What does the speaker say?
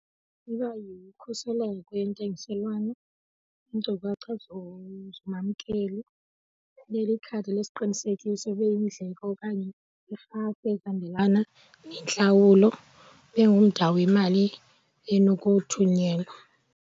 Iba yikhuseleko yentengiselwano, iinkcukacha zomamkeli, ibe likhadi lesiqinisekiso, ibe yindleko okanye irhafu ehambelana nentlawulo, ibe ngumda wemali enokuthunyelwa.